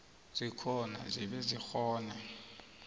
zikhona zibe zikghone